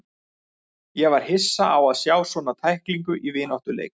Ég var hissa á að sjá svona tæklingu í vináttuleik.